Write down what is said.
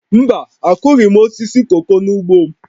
Mba, akụghị m osisi koko n'ugbo m